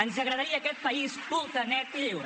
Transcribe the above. ens agradaria aquest país culte net i lliure